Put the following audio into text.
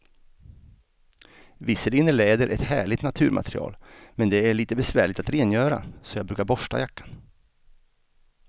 Visserligen är läder ett härligt naturmaterial, men det är lite besvärligt att rengöra, så jag brukar borsta jackan.